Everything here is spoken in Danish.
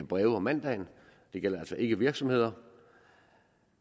breve om mandagen det gælder altså ikke virksomheder